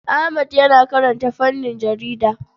Ahmad yana karanta fannin jarida.